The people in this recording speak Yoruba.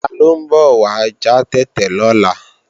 Taló ń bọ̀ wá já tètè lọ́la